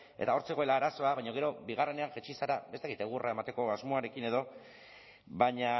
eta hor zegoela arazoa baina gero bigarrenean jaitsi zara ez dakit egurra emateko asmoarekin edo baina